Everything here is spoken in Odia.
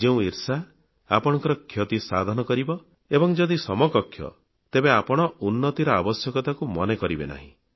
ଯେଉଁ ଈର୍ଷା ଆପଣଙ୍କ କ୍ଷତିସାଧନ କରିବ ଏବଂ ଯଦି ସମକକ୍ଷ ତେବେ ଆପଣ ଉନ୍ନତିର ଆବଶ୍ୟକତାକୁ ମନେ କରିବେ ନାହିଁ